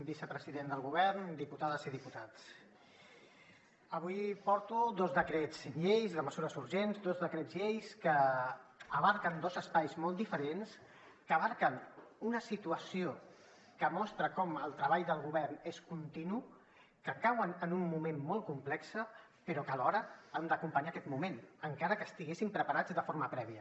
vicepresident del govern diputades i diputats avui porto dos decrets lleis de mesures urgents dos decrets lleis que abasten dos espais molt diferents que abasten una situació que mostra com el treball del govern és continu que cauen en un moment molt complex però que alhora han d’acompanyar aquest moment encara que estiguessin preparats de forma prèvia